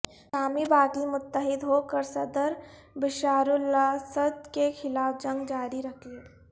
شامی باغی متحد ہوکر صدر بشارالاسد کے خلاف جنگ جاری رکھیں